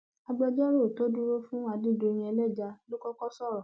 agbẹjọrò tó dúró fún adédọyìn ẹlẹja ló kọkọ sọrọ